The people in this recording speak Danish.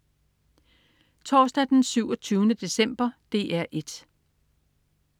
Torsdag den 27. december - DR 1: